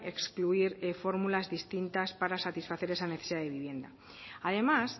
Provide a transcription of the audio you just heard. excluir fórmulas distintas para satisfacer esa necesidad de vivienda además